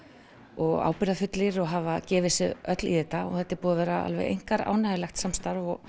og ábirgðarfullir og hafa gefið sig öll í þetta og þetta er búið að vera alveg einkar áhugavert samstarf og